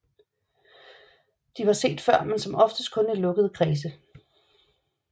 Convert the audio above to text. De var set før men som oftest kun i lukkede kredse